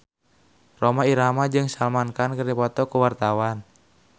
Rhoma Irama jeung Salman Khan keur dipoto ku wartawan